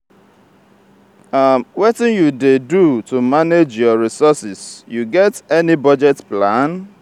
wetin you dey do to manage your resources you get any budget plan?